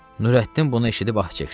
Nurəddin bunu eşidib ah çəkdi.